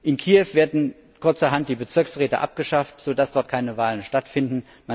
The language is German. In Kiew werden kurzerhand die Bezirksräte abgeschafft, so dass dort keine Wahlen stattfinden